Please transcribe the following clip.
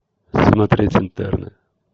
смотреть интерны